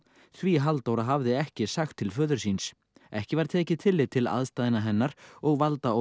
því Halldóra hafði ekki sagt til föður síns ekki var tekið tillit til aðstæðna hennar og